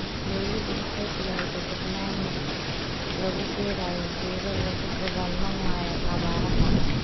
Dawladdu waxay bilawday barnaamij lagu beerayo geedo lagula dagaalamayo abaaraha.